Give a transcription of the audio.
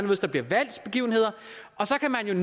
der bliver valgt begivenheder og så kan man